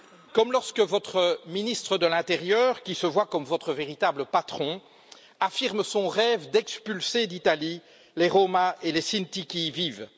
Comme lorsque votre ministre de l'intérieur, qui se voit comme votre véritable patron, affirme son rêve d'expulser d'Italie les Roms et les Sinti qui y vivent.